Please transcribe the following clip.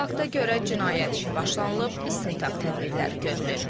Fakta görə cinayət işi başlanılıb, istintaq tədbirləri görülür.